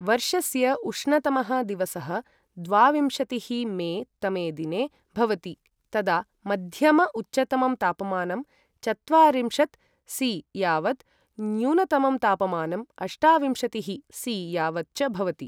वर्षस्य उष्णतमः दिवसः द्वाविंशतिः मे तमे दिने भवति, तदा मध्यम उच्चतमं तापमानं चत्वारिंशत् सि यावत्, न्यूनतमं तापमानं अष्टाविंशतिःसि यावत् च भवति।